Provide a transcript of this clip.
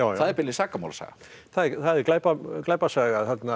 það er beinlínis sakamálasaga það er glæpasaga glæpasaga